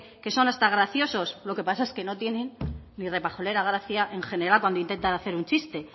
que son hasta graciosos lo que pasa es que no tienen ni repajolera gracia en general cuando intentar hacer un chiste